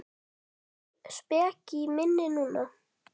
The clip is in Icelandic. Voða speki í minni núna.